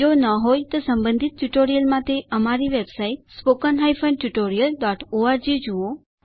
જો ન હોય તો સંબંધિત ટ્યુટોરિયલ્સ માટે અમારી વેબસાઇટ httpspoken tutorialorg જુઓ